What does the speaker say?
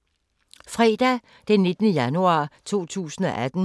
Fredag d. 19. januar 2018